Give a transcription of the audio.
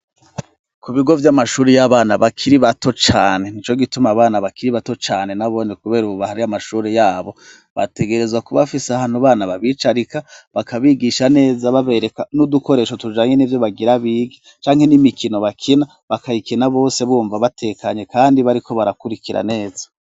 Ku bigo vy'amashuri y'abana bakiri bato cane ni co gituma abana bakiri bato cane n'abone, kubera ububaha ry'amashuri yabo bategerezwa kubafise ahantu bana babicarika bakabigisha neza babereka n'udukoresho tujanye n'i vyo bagira biga canke n'imikino bakina bakayikina bose bumva batekanye, kandi bariko barakurikira neza.